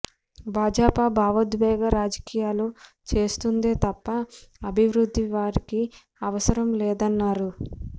భాజాపా బావోద్వేగ రాజకీయాలు చేస్తుందే తప్ప అభివృద్ధి వారికి అవసరం లేదన్నారు